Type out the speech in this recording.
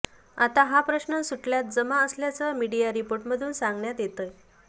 आता हा प्रश्न सुटल्यात जमा असल्याचं मीडिया रिपोर्टमधून सांगण्यात येतंय